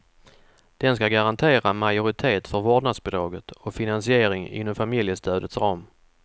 Den ska garantera majoritet för vårdnadsbidraget och finansiering inom familjestödets ram.